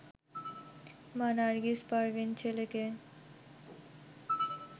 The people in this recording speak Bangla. মা নার্গিস পারভীন ছেলেকে